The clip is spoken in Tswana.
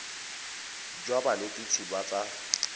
enale jwa banetshi ba tsa